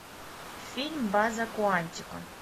фильм база куантико